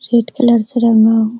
red colour से रंगा हुआ --